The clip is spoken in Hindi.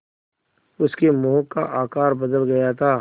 उसके मुँह का आकार बदल गया था